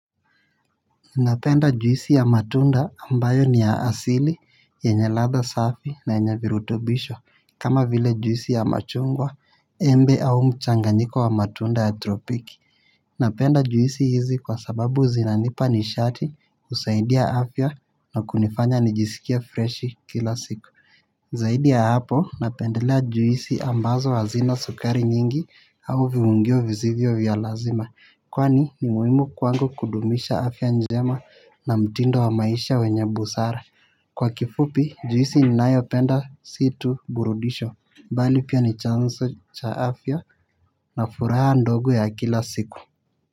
Napenda juisi ya matunda ambayo ni ya asili yenye ladha safi na yenye virutubisho. Kama vile juisi ya machungwa, embe au mchanganyiko wa matunda ya tropiki. Napenda juisi hizi kwa sababu zinanipa nishati husaidia afya na kunifanya nijisikiale fresh kila siku. Zaidi ya hapo napendelea juisi ambazo hazina sukari nyingi au viungio visivyo vya lazima. Kwani ni muhimu kwangu kudumisha afya njema na mtindo wa maisha wenye busara. Kwa kifupi, juisi ni nayo penda si tu burudisho bali pia ni chanzo cha afya na furaha ndogo ya kila siku.